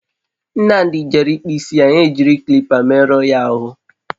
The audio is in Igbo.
Nnamdi jere ikpu isi, ha e jiri kilipa merụ ọ ya ahụ